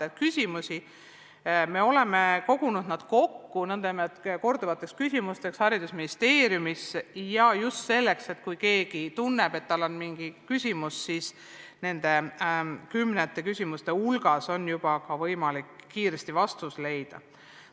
Oleme need Haridus- ja Teadusministeeriumis kogunud kokku nn korduvate küsimuste hulka – just selleks, et kui keegi tunneb, et tal on mingisugune küsimus, siis nende kümnete küsimuste hulgast on tal võimalik kiiresti vastus leida.